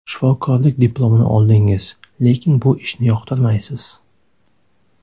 Shifokorlik diplomini oldingiz, lekin bu ishni yoqtirmaysiz.